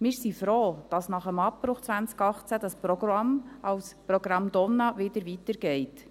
Wir sind froh, dass nach dem Abbruch 2018 das Programm als Programm «Donna» weitergeht.